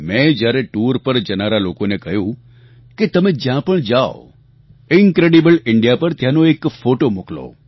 મેં જ્યારે ટૂર પર જનારા લોકોને કહ્યું કે તમે જ્યાં પણ જાઓ ઇન્ક્રેડિબલ ઇન્ડિયા પર ત્યાંનો એક ફોટો મોકલો